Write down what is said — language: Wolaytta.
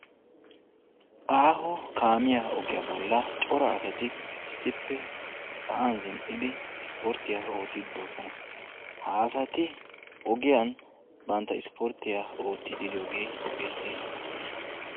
Aaho kaamiya ogiya bolla cora asatti issippe issporttiya oottiddi de'osonna.